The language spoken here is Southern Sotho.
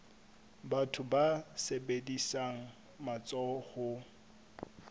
batho ba sebedisang matsoho ho